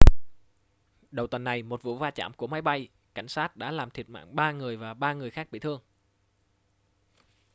đầu tuần này một vụ va chạm của máy bay cảnh sát đã làm thiệt mạng ba người và ba người khác bị thương